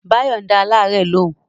Báyọ̀ ń dá alárẹ̀ lóun